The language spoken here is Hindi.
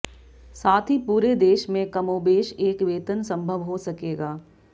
साथ ही पूरे देश में कमोबेश एक वेतन संभव हो सकेगा